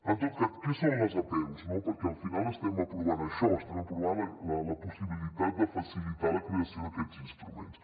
en tot cas què són les apeus no perquè al final estem aprovant això estem aprovant la possibilitat de facilitar la creació d’aquests instruments